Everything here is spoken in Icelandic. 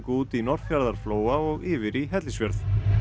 út í Norðfjarðarflóa og yfir í Hellisfjörð